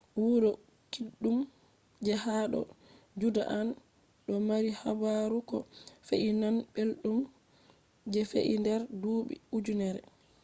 wuro kiddum je ha do judean do mari habaru ko fe’i nane beldum je fe’i der duubi ujinere